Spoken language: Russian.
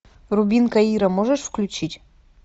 рубин каира можешь включить